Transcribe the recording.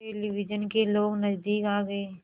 television के लोग नज़दीक आ गए